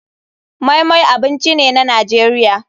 Moi moi abinci ne na nigeria.